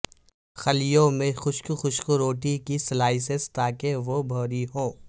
خلیوں میں خشک خشک روٹی کی سلائسیں تاکہ وہ بھوری ہوں